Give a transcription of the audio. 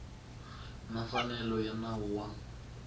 na mfanelo ya nawu wa